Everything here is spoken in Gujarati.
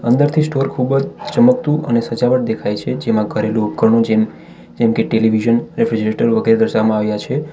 અંદરથી સ્ટોર ખૂબ જ ચમકતું અને સજાવટ દેખાય છે જેમાં ઘરેલુ ઉપકરણો જેમ જેમકે ટેલિવિઝન રેફ્રિજરેટર વગેરે દર્શાવવામાં આવ્યા છે.